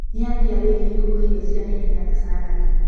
Nĩ atia wĩgie kũruga irio cia naihenya ta sarandi?